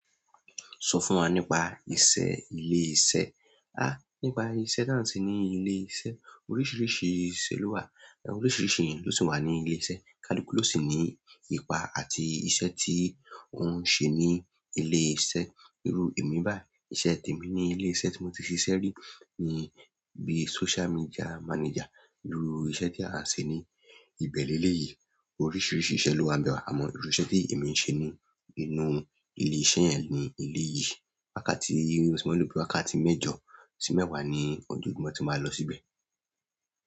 Sọ fún wa nípa iṣẹ́ ilé iṣẹ́. Áà, nípa iṣẹ́ táǹ ti ní ilé iṣẹ́, oríṣiríṣi iṣẹ́ ló wà, oríṣiríṣi ènìyàn ló sì wà ní ilé iṣẹ́, kalukú ló sì ní ipa àti iṣẹ́ tí òun ń ṣe ní ilé iṣẹ́. Irú èmi báyìí, iṣẹ́ tí èmi ní ilé iṣẹ́ tí mo ti ṣiṣẹ́ rí ni bí social media manager. Irú iṣẹ́ tí a ń ṣe ní ìbẹ̀rẹ̀ ilé yìí, oríṣiríṣi iṣẹ́ ló ń bẹ̀ wá. Àmọ́ irú iṣẹ́ tí èmi ń ṣe ni nínú ilé-iṣẹ́ ni ilé yìí. Wákàtí, irú ọsù méjì, wákàtí mẹ́jọ sí mẹ́wàá ni ọjọ́ ìgbọ̀n tí màá lọ síbẹ̀.